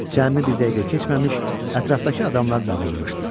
Cəmi bir dəqiqə keçməmiş ətrafdakı adamlar dağılmışdı.